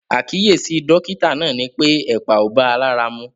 Àkíyèsí dọ́kítà náà ni pé ẹ̀pà ò bá a lára mu.